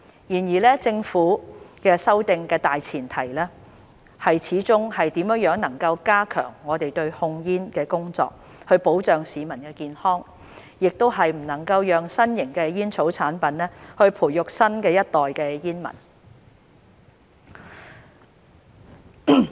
然而政府修訂的大前提是怎樣加強我們對控煙的工作，以保障市民健康，亦不能讓新型的煙草產品培育新一代煙民。